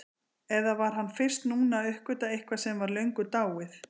Eða var hann fyrst núna að uppgötva eitthvað sem var löngu dáið?